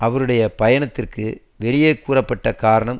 அவருடைய பயணத்திற்கு வெளியே கூறப்பட்ட காரணம்